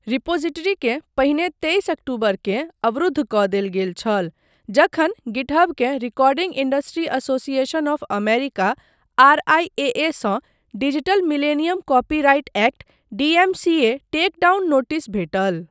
रिपॉजिटरीकेँ पहिने तेइस अक्टूबरकेँ अवरुद्ध कऽ देल गेल छल, जखन गिटहबकेँ recording industry association of America, आरआईएएसँ digital millennium copyright act, DMCA, take down notice भेटल।